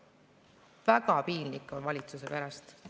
Väga piinlik on valitsuse pärast.